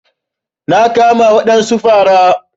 Na kama wadansu fara.